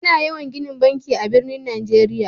Ana yawan ginin banki a'birnin Nijeriya.